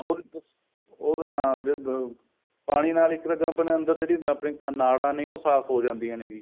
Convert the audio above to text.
ਉਹਦੇ ਤਾਂ ਉਹ ਤਾਂ ਹਾਂ ਜੇ ਪਾਣੀ ਨਾਲ ਇੱਕ ਤਾਂ ਜੋ ਆਪਣੇ ਅੰਦਰ ਨਾੜਾ ਨੇ ਉਹ ਸਾਫ਼ ਹੋ ਜਾਂਦੀਆਂ ਨੇ ਜੀ